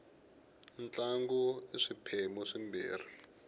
ntlangu i swiphemu swimbirhi